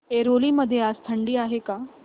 ऐरोली मध्ये आज थंडी आहे का